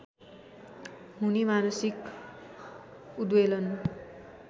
हुने मानसिक उद्वेलन